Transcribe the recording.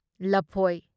ꯂꯐꯣꯢ